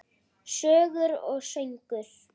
Sögur og söngur.